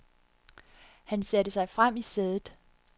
Han satte sig frem i sædet.